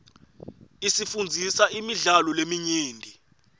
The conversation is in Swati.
isifundzisa imidlalo leminyenti